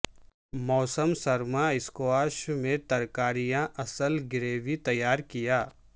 موسم سرما اسکواش میں ترکاریاں اصل گریوی تیار کیا